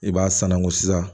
I b'a sanangu sisan